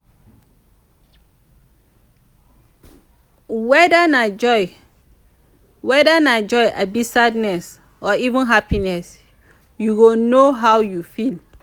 weda na joy weda na joy abi sadness or even happiness yu go no how yu feel